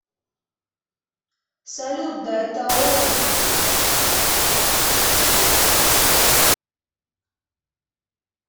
салют да это он